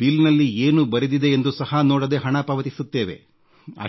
ಬಿಲ್ನಲ್ಲಿ ಏನು ಬರೆದಿದೆ ಎಂದು ಸಹ ನೋಡದೇ ಹಣ ಪಾವತಿಸುತ್ತೇವೆ